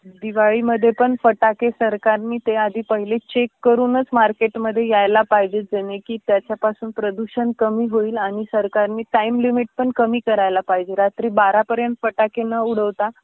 दिवाळीमध्ये पण फटाके सरकारनी ते आधी पहिले चेक करूनच मार्केटमध्ये यायला पाहिजेल जेणे की, त्याच्यापासून प्रदूषण कमी होईल आणि सरकारनी टाईम लिमिट पण कमी करायला पाहिजेल रात्री बारा पर्यंत फटाके न उडवता